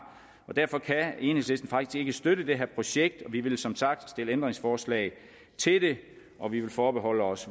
derfor kan enhedslisten faktisk ikke støtte det her projekt og vi vil som sagt stille ændringsforslag til det og vi vil forbeholde os